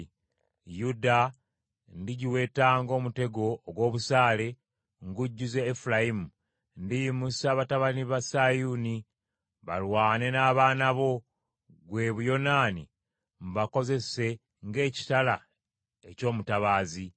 Yuda ndigiweta ng’omutego ogw’obusaale ngujjuze Efulayimu. Ndiyimusa batabani ba Sayuuni, balwane n’abaana bo, ggwe Buyonaani, mbakozese ng’ekitala eky’omutabaazi.